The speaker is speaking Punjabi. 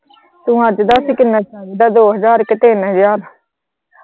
ਤੂੰ ਅੱਜ ਦੱਸ ਕਿੰਨਾ ਚਾਹੀਦਾ ਦੋ ਹਜ਼ਾਰ ਕੇ ਤਿੰਨ ਹਜ਼ਾਰ।